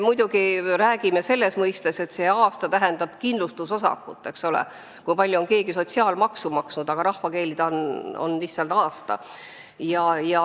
Muidugi me räägime, et see tähendab kindlustusosakut, tähendab seda, kui palju on keegi sotsiaalmaksu maksnud, aga rahvakeeli on see lihtsalt tööaasta.